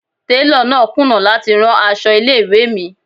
Télọ̀ náà kùnà láti rán aṣọ ilé ìwé mi.